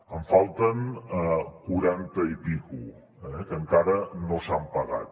en falten quaranta i escaig eh que encara no s’han pagat